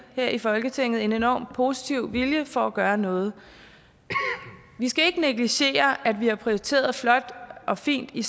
her i folketinget en enormt positiv vilje for at gøre noget vi skal ikke negligere at vi har prioriteret flot og fint i